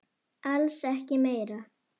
Alls ekki meira.